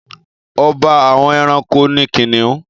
Ọba àwọn ẹranko ni kìnìún.